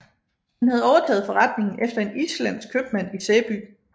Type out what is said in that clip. Han havde overtaget forretningen efter en islandsk købmand i Sæby